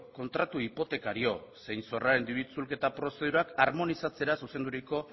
kontratu hipotekario zein zorraren diru itzulketa prozedurak harmonizatzera zuzenduriko